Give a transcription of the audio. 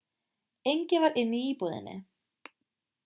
enginn var inni í íbúðinni